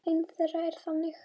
Ein þeirra er þannig